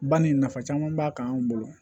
Ba ni nafa caman b'a kan anw bolo